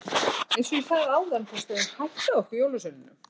Eins og ég sagði áðan þá steðjar hætta að okkur jólasveinunum.